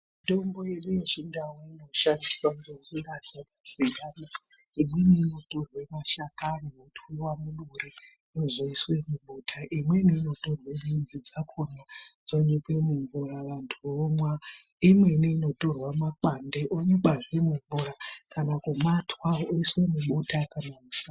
Mitombo yedu yechindau inoshandiswa ngenjira dzakasiyana. Imweni inotorwe mashakani otwiwa muduri, ozoiswe mubota. Imweni inotorwe midzi dzakhona dzonyikwe mumvura vantu vomwa. Imweni inotorwe mapande onyikwazve mumvura ,kana kumatwa oiswe mubota kana kusha....